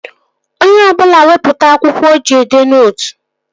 Onye ọbụla wepụta akwụkwọ o ji edee nootu!